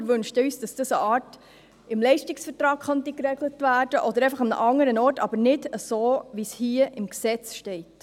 Wir wünschten uns, dass dies auf eine Art im Leistungsvertrag geregelt werden könnte, oder an einem anderen Ort, aber nicht so, wie es hier im Gesetz steht.